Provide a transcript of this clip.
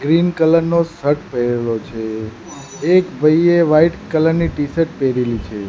Green colour નો shirt પહેરેલો છે એક ભઈએ વ્હાઇટ કલર ની ટીશર્ટ પેહરેલી છે.